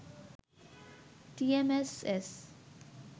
TMSS